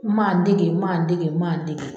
Maan dege maan dege maan dege